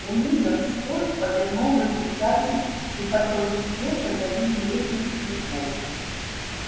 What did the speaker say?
уидон скотт повернул выключатель и потоки света залили лестницу и холл